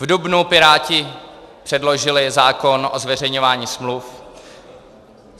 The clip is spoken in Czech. V dubnu Piráti předložili zákon o zveřejňování smluv.